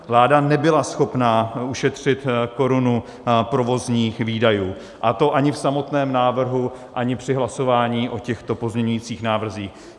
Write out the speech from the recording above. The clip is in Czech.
Vláda nebyla schopná ušetřit korunu provozních výdajů, a to ani v samotném návrhu, ani při hlasování o těchto pozměňujících návrzích.